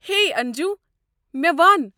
ہے انجوٗ! مےٚ ون۔